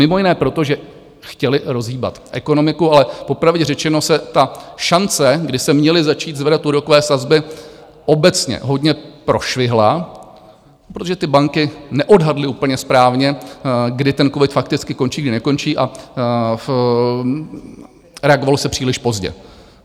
Mimo jiné proto, že chtěly rozhýbat ekonomiku, ale popravdě řečeno se ta šance, kdy se měly začít zvedat úrokové sazby, obecně hodně prošvihla, protože banky neodhadly úplně správně, kdy ten covid fakticky končí, kdy nekončí, a reagovalo se příliš pozdě.